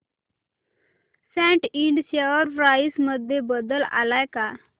सॅट Ind share price मध्ये बदल आलाय का